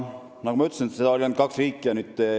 Nagu ma ütlesin, oli teekasutustasuta ainult kaks riiki.